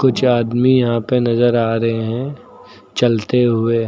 आदमी यहां पे नजर आ रहे हैं चलते हुए।